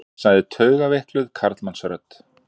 sagði taugaveikluð karlmannsrödd.